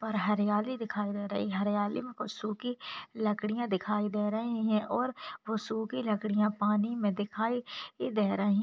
और हरियाली दिखाई दे रही है। हरियाली में कुछ सूखी लकड़ियां दिखाई दे रही हैं और वो सूखी लकड़ियां पानी में दिखाई दे रहीं --